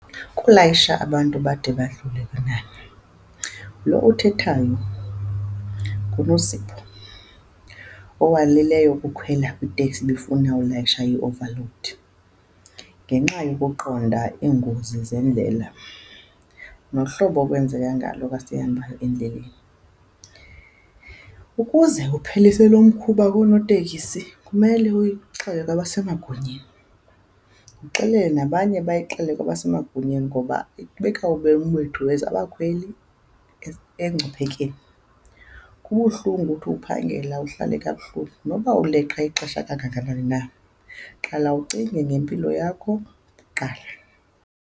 Ukulayisha abantu bade badlule kwinani, lo uthethayo nguNosipho owalileyo ukukhwela kwiteksi ebifuna ulayisha i-overload, ngenxa yokuqonda iingozi zeendlela nohlobo okwenzeka ngalo xa sihamba endleleni. Ukuze kupheliswe lo mkhuba koonotekisi, kumele uyixele kwabasemagunyeni, uxelele nabanye bayixele kwabasemagunyeni, ngoba ibeka ubomi bethu as abakhweli engciphekeni. Kubuhlungu uthi uphangela uhlale kabuhlungu, noba uleqa ixesha kangakanani na. Qala ucinge ngempilo yakho kuqala.